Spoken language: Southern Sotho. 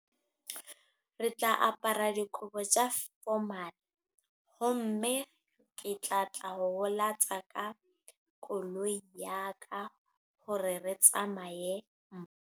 Re tla apara dikobo tsa formal. Ho mme ke tla tla ho tsa ka koloi ya ka. Hore re tsamaye.